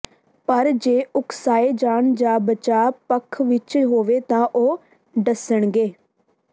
ਪਰ ਜੇ ਉਕਸਾਏ ਜਾਣ ਜਾਂ ਬਚਾਅ ਪੱਖ ਵਿੱਚ ਹੋਵੇ ਤਾਂ ਉਹ ਡੱਸਣਗੇ